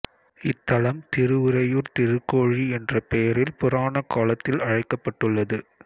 இத்தலம் திருஉறையூர் திருக்கோழி என்ற பெயரில் புராண காலத்தில் அழைக்கப்பட்டுள்ளது